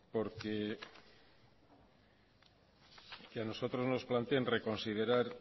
porque que a nosotros planteen reconsiderar